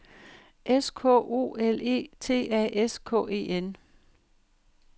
S K O L E T A S K E N